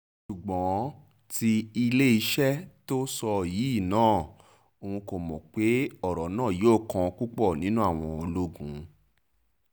ṣùgbọ́n tí iléeṣẹ́ itt tó sọ yìí náà òun kò mọ̀ pé ọ̀rọ̀ náà yóò kan púpọ̀ nínú àwọn ológun